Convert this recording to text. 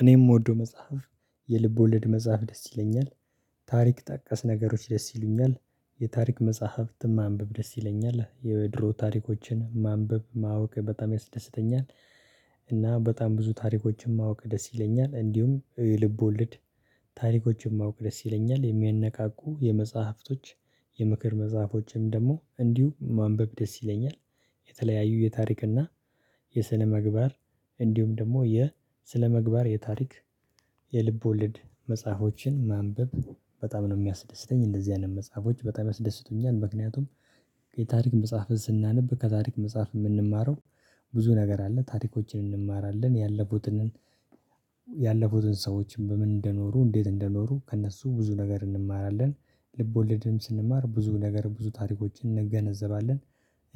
እኔ የምወደው መጽሐፍ የልብ ወልድ መጽሐፍ ደስ ይለኛል ታሪክ ጠቀስ ነገሮች ደስ ይሉኛል የታሪክ መጽሐፍት ማንበብ ደስ ይለኛል የድሮ ታሪኮችን ማንበብ ማወቅ በጣም ያስደስተኛል። እና በጣም ብዙ ታሪኮችን ማወቅ ደስ ይለኛል እንዲሁም ልብ ወልድ። ታሪኮችን ማወቅ ደስ ይለኛል የሚያነቃቁ የመጽሐፍቶች የምክር መጽሐፎችም ደግሞ እንዲሁ ማንበቅ ደስ ይለኛል። የተለያዩ የታሪክ እና የስነምግባር እንዲሁም ደግሞ የ ስነምግባር የታሪክ የልብ ወልድ መጽሐፎችን ማንበብ። በጣም ነው የሚያስደስተኝ እንደዚህ አይነት መጽሐፎች በጣም ያስደስቱኛል። ምክንያቱም የታሪክ መጽሐፍን ስናነብ ከታሪክ መጽሐፍ የምንማረው ብዙ ነገር አለ። ታሪኮችን እንማራለን ያለፉትንን ያለፉትን ሰዎችን በምን እንደኖሩ እንዴት እንደኖሩ ከእነሱ ብዙ ነገር እንማራለን። ልቦልድም ስንማር ብዙ ነገር ብዙ ታሪኮችን እንገነዘባለን።